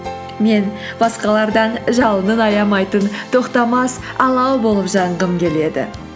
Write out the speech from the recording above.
мен басқалардан жалынын аямайтын тоқтамас алау болып жанғым келеді